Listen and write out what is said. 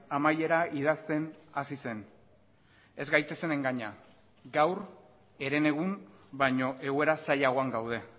amaiera idazten hasi zen ez gaitezen engaina gaur herenegun baino egoera zailagoan gaude